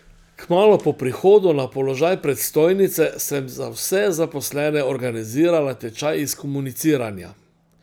Kmalu po prihodu na položaj predstojnice sem za vse zaposlene organizirala tečaj iz komuniciranja.